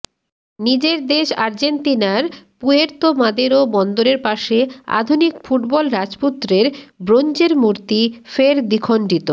নিজের দেশ আর্জেন্তিনার পুয়ের্তো মাদেরো বন্দরের পাশে আধুনিক ফুটবল রাজপুত্রের ব্রোঞ্জের মূর্তি ফের দ্বিখণ্ডিত